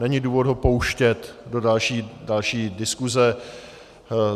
Není důvod ho pouštět do další diskuse.